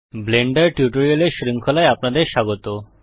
Blender টিউটোরিয়ালের শৃঙ্খলায় আপনাদের স্বাগত